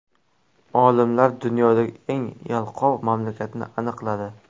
Olimlar dunyodagi eng yalqov mamlakatni aniqladi.